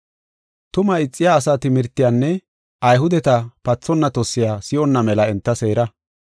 Tumaa ixiya asaa timirtiyanne Ayhudeta pathonna tossiya si7onna mela enta seera.